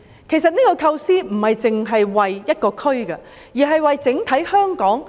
其實，這個構思並非只為一個區，而是為了香港整體。